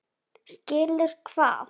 Skilur hvað?